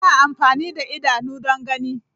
Ana amfani da idanu don gani.